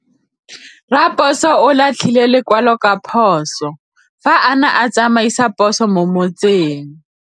Raposo o latlhie lekwalô ka phosô fa a ne a tsamaisa poso mo motseng.